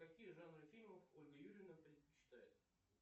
какие жанры фильмов ольга юрьевна предпочитает